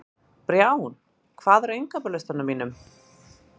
Brjánn, hvað er á innkaupalistanum mínum?